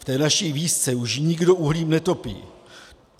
V té naší vísce už nikdo uhlím netopí.